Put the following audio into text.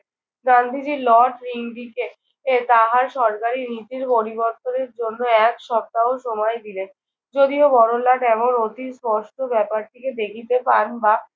Gandhiji Lord ঋন্ধিকে এ তাহার সরকারি নীতির পরিবর্তনের জন্য এক সপ্তাহ সময় দিলেন। যদিও বড়লাট এমন অতি স্পষ্ট ব্যাপারটিকে দেখিতে পান বা